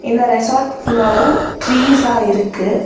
இந்த ரெசாட் ஃபுல்லாவு ட்ரீஸா இருக்கு.